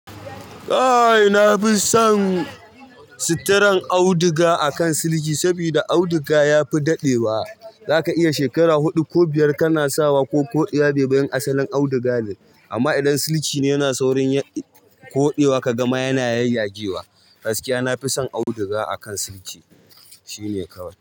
Aa na fi son suturan auduga akan siliki saboda auduga ya fi dadewa. Zaka iya shekara huɗu ko biyar kana sawa ko koɗiya ba bayan asalin auduga ne. Amma idan siliki ne yana saurin koɗewa ka gama yana yayyage wa. Gaskiya nafi son auduga akan siliki. Shi ne kawai.